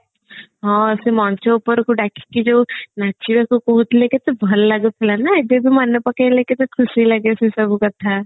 ହଁ ସେ ମଞ୍ଚ ଉପରକୁ ଡାକିକି ଯୋଉ ନାଚିବାକୁ କହୁଥିଲେ କେତେ ଭଲ ଲାଗୁଥିଲା ନା ଏବେବେ ମନେ ପକେଇଲେ କେତେ ଖୁସି ଲାଗେ ସେସବୁ କଥା